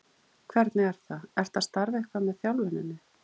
Hvernig er það, ertu að starfa eitthvað með þjálfuninni?